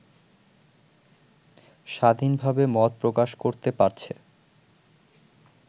স্বাধীনভাবে মত প্রকাশ করতে পারছে